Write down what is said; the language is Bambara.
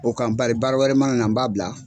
O kan bari baara wɛrɛ mana na n b'a bila.